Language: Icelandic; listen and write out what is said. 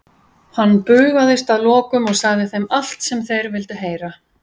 Hann bugaðist að lokum og sagði þeim allt sem þeir vildu heyra.